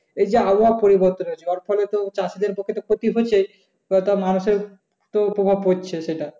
এই যে আবহাওয়া পরিবর্তন হচ্ছে যার ফলে চাষীদের পক্ষে তো ক্ষতি হয়েছেই বা তা মানুষের তো প্রভাব পড়ছে সেটা।